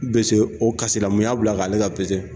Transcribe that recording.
Be se o kasi la mun y'a bila k'ale ka pese